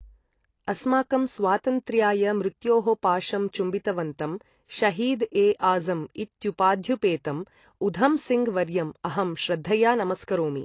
अस्माकं स्वातन्त्र्याय मृत्योः पाशं चुम्बितवन्तं, शहीद् ए आज़म् इत्युपाध्युपेतम् उधमसिङ्ग् वर्यम् अहं श्रद्धया नमस्करोमि।